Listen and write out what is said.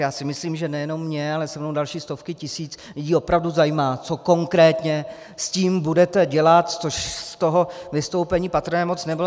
Já si myslím, že nejenom mě, ale se mnou další stovky tisíc lidí opravdu zajímá, co konkrétně s tím budete dělat, což z toho vystoupení patrné moc nebylo.